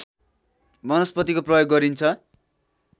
वनस्पतिको प्रयोग गरिन्छ